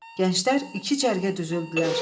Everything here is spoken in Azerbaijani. Gənclər iki cərgə düzüldülər.